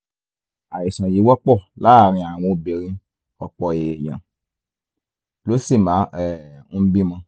àìsàn yìí wọ́pọ̀ láàárín àwọn obìnrin ọ̀pọ̀ èèyàn ló sì máa um ń bímọ